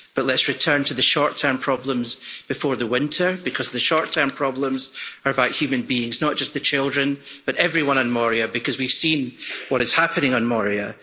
But let's return to the short term problems before the winter because the short term problems are about human beings, not just the children but everyone on Moria, because we've seen what is happening on Moria